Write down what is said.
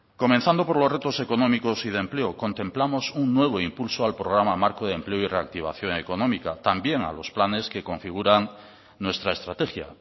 comenzando por los retos económicos y de empleo contemplamos un nuevo impulso al programa marco de empleo y reactivación económica también a los planes que configuran nuestra estrategia